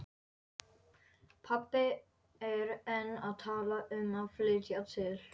Pabbi er enn að tala um að flytja til